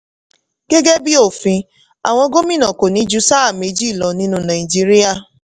gẹ́gẹ́ bí òfin àwọn gómìnà kò ní ju sáà méjì lọ nínú nàìjíríà.